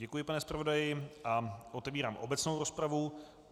Děkuji, pane zpravodaji, a otevírám obecnou rozpravu.